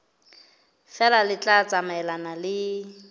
feela le tla tsamaelana le